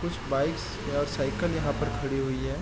कुछ बाइक्स और साइकिल यहाँ पर खड़ी हुई है।